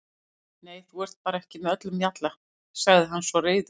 Nú, þú ert bara ekki með öllum mjalla, sagði hann svo reiður.